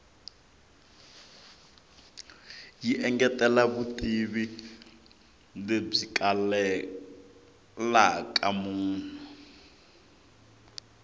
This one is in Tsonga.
yi engetela vutivi lebyi kalelaka munhu